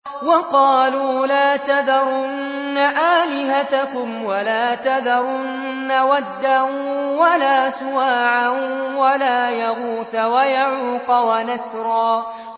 وَقَالُوا لَا تَذَرُنَّ آلِهَتَكُمْ وَلَا تَذَرُنَّ وَدًّا وَلَا سُوَاعًا وَلَا يَغُوثَ وَيَعُوقَ وَنَسْرًا